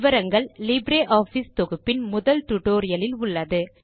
விவரங்கள் லிப்ரியாஃபிஸ் தொகுப்பின் முதல் டுடோரியலில் உள்ளது